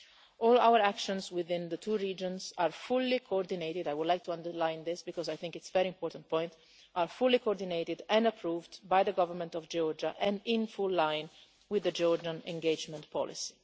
All our actions within the two regions are fully coordinated I would like to underline this, because I think it's a very important point are fully coordinated and approved by the government of Georgia and in full line with the Georgian engagement policy.